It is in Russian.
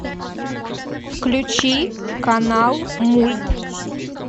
включи канал мульт